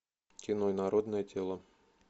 кино инородное тело